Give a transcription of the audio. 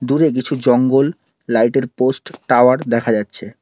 দূরে কিছু জঙ্গল লাইটের পোস্ট টাওয়ার দেখা যাচ্ছে।